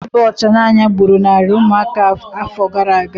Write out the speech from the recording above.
Ọrịa ịba ọcha n'anya gburu narị ụmụaka afọ gara aga